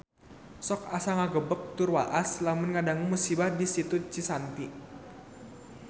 Sok asa ngagebeg tur waas lamun ngadangu musibah di Situ Cisanti